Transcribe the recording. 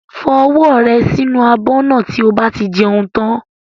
Fọ ọwọ́ rẹ sí inú abọ́ náà tí o bá ti jẹun tán.